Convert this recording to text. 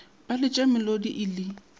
ba letša melodi e le